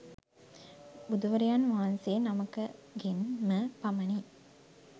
බුදුවරයන් වහන්සේ නමකගෙන් ම පමණි.